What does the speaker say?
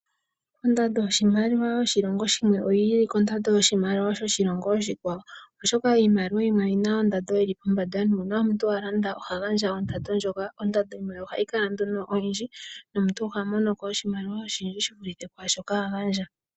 Ondando yoshimaliwa yoshilongo shimwe oyi ilile kondando yoshimaliwa shoshilongo oshikwawo oshoka iimaliwa yimwe oyi na ondando yi li pombanda nuuna omuntu a landa oha gandja ondando ndjika. Ondando yimwe ohayi kala oyindji nomuntu oha mono ko oshimaliwa shi vulithe pwaashoka a gandja.